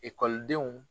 Ekɔlidenw